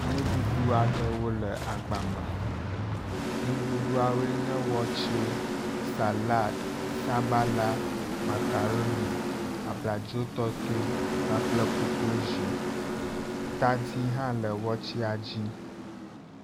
Nuɖuɖu aɖewo le agba me, nuɖuɖuawoe nye wɔtse, salad, sabala, makaroni, abladzo tɔtɔe kpakple kokolozi, tadi hã le wɔtsea dzi